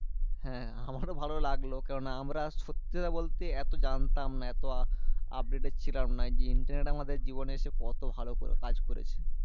হ্যাঁ আমারও ভালো লাগলো। কারণ আমরা সত্যি কথা বলতে, এত জানতাম না। এত updated ছিলাম না। যে internet আমাদের জীবনে এসে, কত ভালো করে কাজ করেছে?